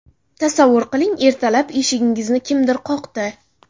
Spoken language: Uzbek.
Tasavvur qiling, ertalab eshigingizni kimdir qoqdi.